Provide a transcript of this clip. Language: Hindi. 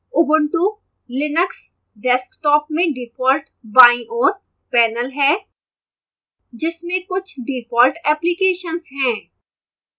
launcher ubuntu linux desktop में default बाईं ओर panel है जिसमें कुछ default applications हैं